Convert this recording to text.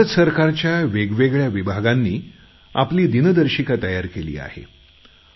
भारत सरकारच्या वेगवेगळ्या विभागांनी आपली दिनदर्शिका तयार केली आहे